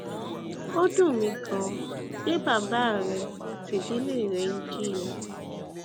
ó dùn mí ganan pé bàbá rẹ àti ìdílé rẹ ń jìyà